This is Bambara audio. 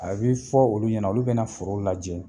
A bɛ fɔ olu ɲɛna olu bɛna foro lajɛ